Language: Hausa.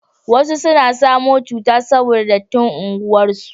wasu sun samu cuta saboda dattin unguwar su